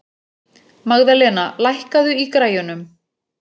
Magðalena, lækkaðu í græjunum.